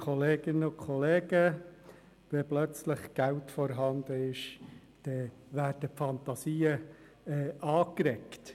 Wenn plötzlich Geld vorhanden ist, dann werden die Fantasien angeregt.